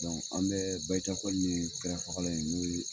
an bɛ bajakɔ ye tɛrɛfagalan in n'o ye